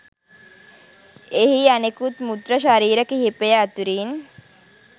එහි අනෙකුත් මෘත ශරීර කීපය අතුරින්